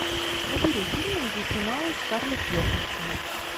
набери фильмы где снималась скарлетт йоханссон